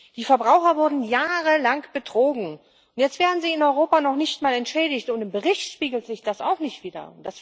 Die Verbraucher wurden jahrelang betrogen, und jetzt werden sie in Europa noch nicht mal entschädigt, und im Bericht spiegelt sich das auch nicht wieder.